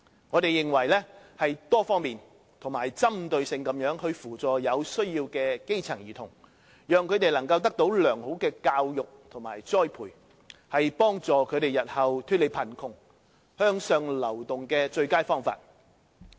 我們認為，多方面及針對性地扶助有需要的基層兒童，讓他們得到良好的教育和栽培，是幫助他們日後脫離貧窮和向上流動的最佳方法。